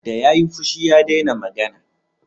Da ya yi fushi, ya dena magana